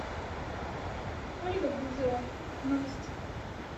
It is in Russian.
ольга бузова новости